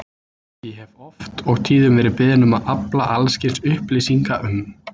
Ég hef oft og tíðum verið beðinn um að afla alls kyns upplýsinga um